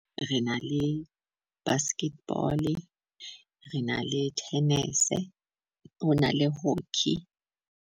Re na le basketball, re na le tennis. Ho na le hockey.